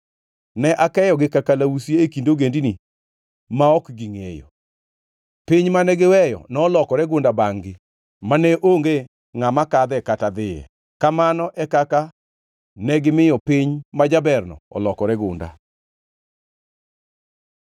‘Ne akeyogi ka kalausi e kind ogendini ma ok gingʼeyo. Piny mane giweyo nolokore gunda bangʼ-gi mane onge ngʼama kadhe kata dhiye. Kamano e kaka negimiyo piny majaberno olokore gunda.’ ”